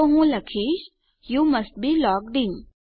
તો હું લખીશ you must be logged in